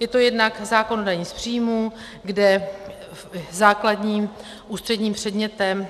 Je to jednak zákon o dani z příjmů, kde základním ústředním předmětem